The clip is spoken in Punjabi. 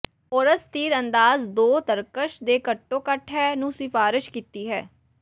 ਹੋਰਸ ਤੀਰਅੰਦਾਜ਼ ਦੋ ਤਰਕਸ਼ ਦੇ ਘੱਟੋ ਘੱਟ ਹੈ ਨੂੰ ਸਿਫਾਰਸ਼ ਕੀਤੀ ਹੈ